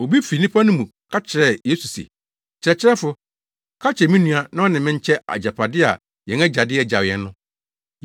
Obi fi nnipa no mu ka kyerɛɛ Yesu se, “Kyerɛkyerɛfo, ka kyerɛ me nua na ɔne me nkyɛ agyapade a yɛn agya de agyaw yɛn no.”